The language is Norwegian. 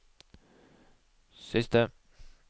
siste